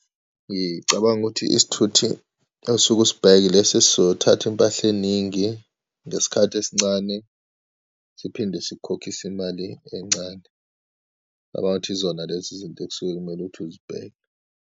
Ngicabanga ukuthi isithuthi osuke usibheke ilesi esizothatha iy'mpahla eyiningi ngesikhathi esincane, siphinde sikukhokhise imali encane. Ngicabanga ukuthi izona lezi izinto ekusuke kumele ukuthi uzibheke.